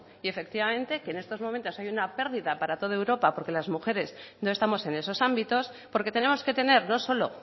y efectivamente que ahora en estos momentos hay una pérdida para toda europa porque las mujeres no estamos en esos ámbitos porque tenemos que tener no solo